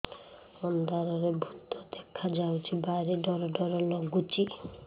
ଅନ୍ଧାରରେ ଭୂତ ଦେଖା ଯାଉଛି ଭାରି ଡର ଡର ଲଗୁଛି